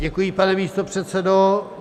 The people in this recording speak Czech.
Děkuji, pane místopředsedo.